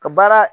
Ka baara